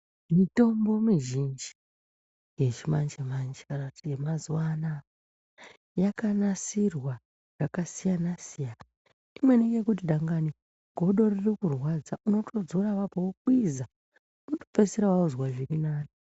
Mitombo mizhinji yechimanje-manje kana kuti yemazuva anaa yakanasirwa zvakasiyana-siyana. Imweni yekuti dangani godo ririkurwadza, unotodzora apapo wokwiza unotopedzisira wozwa zvirinani